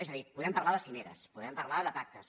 és a dir podem parlar de cimeres podem parlar de pactes